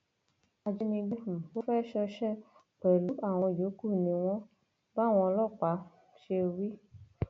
ajínigbé um tó fẹẹ ṣọṣẹ pẹlú àwọn yòókù ni wọn báwọn ọlọpàá um ṣe wí